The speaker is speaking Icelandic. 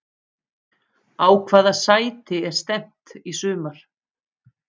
Á hvaða sæti er stefnt í sumar?